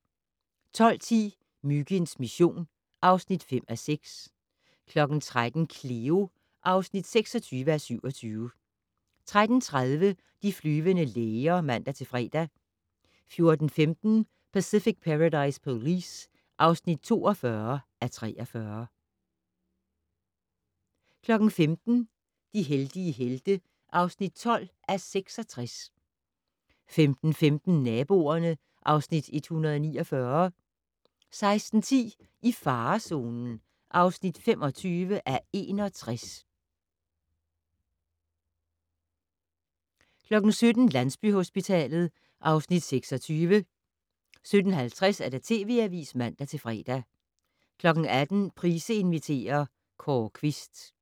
12:10: Myginds mission (5:6) 13:00: Cleo (26:27) 13:30: De flyvende læger (man-fre) 14:15: Pacific Paradise Police (42:43) 15:00: De heldige helte (12:66) 15:45: Naboerne (Afs. 149) 16:10: I farezonen (25:61) 17:00: Landsbyhospitalet (Afs. 26) 17:50: TV Avisen (man-fre) 18:00: Price inviterer - Kåre Quist